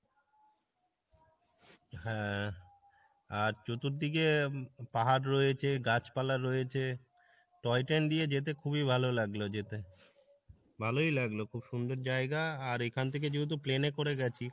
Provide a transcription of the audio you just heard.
হ্যাঁ, আর চতুর্দিকে পাহাড় রয়েছে গাছ পালা রয়েছে toy train দিয়ে যেতে খুবই ভালো লাগলো যেতে, ভালোই লাগলো খুব সুন্দর জায়গা আর এখান থেকে যেহেতু plane এ করে গেছি,